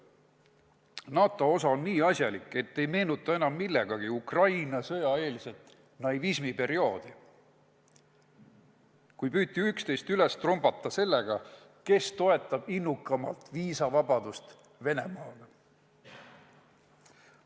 NATO osa on nii asjalik, et ei meenuta enam millegagi Ukraina sõja eelsest naivismiperioodi, kui püüti üksteist üle trumbata sellega, kes toetab innukamalt viisavabadust Venemaaga.